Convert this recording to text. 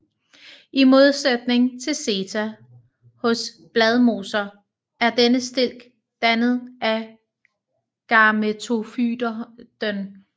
I modsætning til seta hos Bladmosser er denne stilk dannet af gametofyten